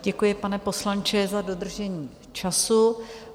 Děkuji, pane poslanče, za dodržení času.